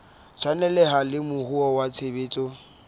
tshwaneleha le moruo wa tshebetso